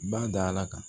Ba da ala kan